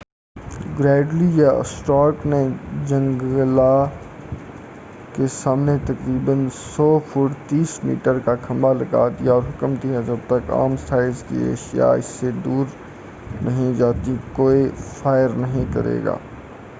گریڈلی یا اسٹارک نے جنگلا کے سامنے تقریبا 100 فٹ 30 میٹر کا کھمبا لگا دیا اور حکم دیا کہ جب تک عام سائز کی اشیاء اس سے نہیں گزر جاتی کوئی فائر نہیں کریگا-